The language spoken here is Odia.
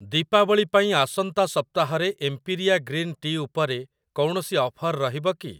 ଦୀପାବଳି ପାଇଁ ଆସନ୍ତା ସପ୍ତାହରେ ଏମ୍ପିରିଆ ଗ୍ରୀନ୍ ଟି ଉପରେ କୌଣସି ଅଫର୍ ରହିବ କି?